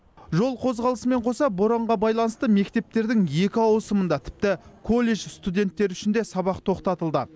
жол қозғалысымен қоса боранға байланысты мектептердің екі ауысымында тіпті колледж студенттері үшін де сабақ тоқтатылды